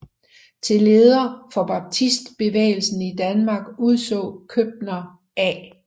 Til leder for baptistbevægelsen i Danmark udså Købner A